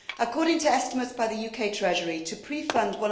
According to estimates by the UK Treasury, to pre fund